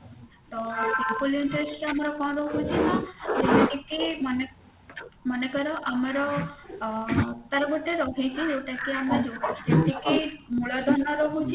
ତ simple interest ଆମର କଣ ରହୁଛି ନା ଯେମତି କି ମନେ ମନେକର ଆମର ଅ ତାର ଗୋଟେ ରହିଛି କି ଯୋଉଟା କି ଆମେ ଯେତିକି ମୂଳଧନ ରହୁଛି